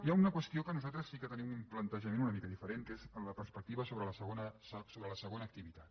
hi ha una qüestió en què nosaltres sí que tenim un plantejament una mica diferent que és la perspectiva sobre la segona activitat